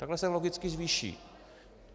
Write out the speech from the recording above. Takhle se logicky zvýší.